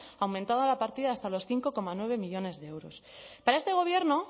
aumentado la partida hasta los cinco coma nueve millónes de euros para este gobierno